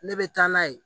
Ne bɛ taa n'a ye